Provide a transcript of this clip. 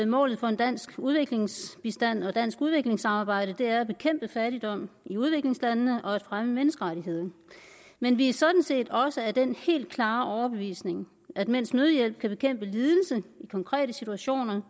målet for dansk udviklingsbistand og dansk udviklingssamarbejde er at bekæmpe fattigdom i udviklingslandene og at fremme menneskerettighederne men vi er sådan set også af den helt klare overbevisning at mens nødhjælp kan bekæmpe lidelse i konkrete situationer